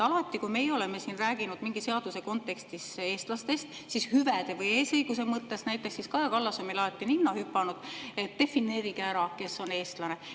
Alati, kui meie oleme siin rääkinud mingi seaduse kontekstis eestlastest, hüvede või eesõiguse mõttes näiteks, siis on Kaja Kallas meile alati ninna hüpanud, et defineerige ära, kes on eestlane.